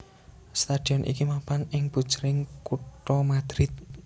Stadion iki mapan ing pujering kutha Madrid